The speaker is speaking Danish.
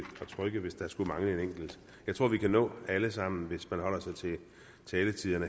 trykke hvis der skulle mangle en enkelt jeg tror at vi kan nå alle sammen hvis man holder sig til taletiden